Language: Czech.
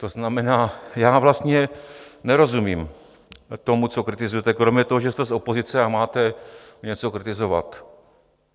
To znamená, že vlastně nerozumím tomu, co kritizujete, kromě toho, že jste z opozice a máte něco kritizovat.